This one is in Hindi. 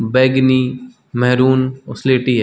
बैगनी मेहरून और सीलेटी है।